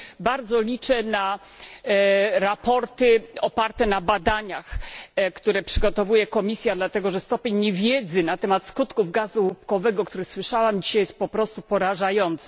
I bardzo liczę na sprawozdania oparte na badaniach, które przygotowuje Komisja, dlatego że stopień niewiedzy na temat skutków gazu łupkowego, który słyszałam dzisiaj, jest po prostu porażający.